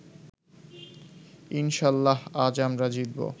ইনশাল্লাহ আজ আমরা জিতবো